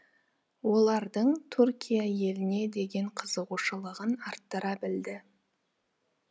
олардың туркия еліне деген қызығушылығын арттыра білді